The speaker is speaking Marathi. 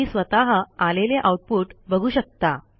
तुम्ही स्वतः आलेले आऊटपुट बघू शकता